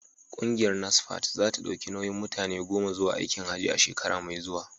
Kungiyar Nasfat za ta dauki nauyin mutane goma zuwa aikin Hajji a shekara mai zuwa.